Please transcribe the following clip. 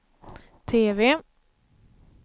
TV